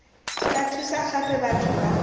tla thusa gape batho ba